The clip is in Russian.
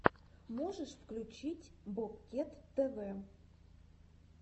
можешь включить бобкет тв